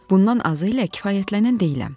Bundan azı ilə kifayətlənən deyiləm.